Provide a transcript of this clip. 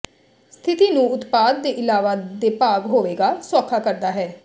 ਸਥਿਤੀ ਨੂੰ ਉਤਪਾਦ ਦੇ ਇਲਾਵਾ ਦੇ ਭਾਗ ਹੋਵੇਗਾ ਸੌਖਾ ਕਰਦਾ ਹੈ